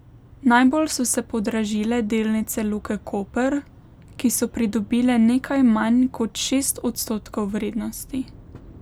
Najbolj so se podražile delnice Luke Koper, ki so pridobile nekaj manj kot šest odstotkov vrednosti.